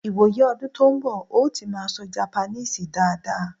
ìwò yí ọdún tó n bo̩, n ó ti maa sọ Japaníìsì daada